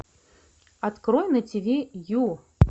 открой на тв ю